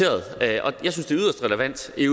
vi